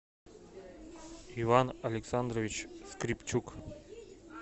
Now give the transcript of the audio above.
иван александрович скрипчук